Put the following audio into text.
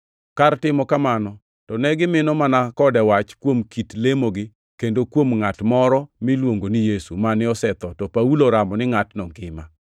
Kar timo kamano, to ne gimino mana kode wach kuom kit lemogi kendo kuom ngʼat moro miluongo ni Yesu, mane osetho, to Paulo oramo ni ngʼatno ngima.